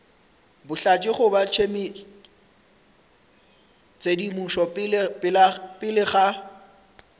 bohlatse goba tshedimošo pele ga